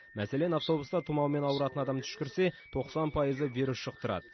мәселен автобуста тұмаумен ауыратын адам түшкірсе тоқсан пайызы вирус жұқтырады